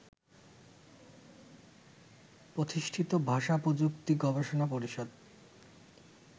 প্রতিষ্ঠিত ভাষা-প্রযুক্তি গবেষণা পরিষদ